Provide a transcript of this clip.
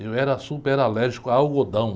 Eu era super alérgico a algodão.